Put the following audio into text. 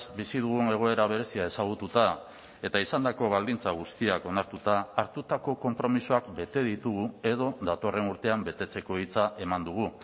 bizi dugun egoera berezia ezagututa eta izandako baldintza guztiak onartuta hartutako konpromisoak bete ditugu edo datorren urtean betetzeko hitza eman dugu